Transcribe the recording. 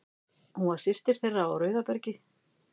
Hún var systir þeirra á Rauðabergi.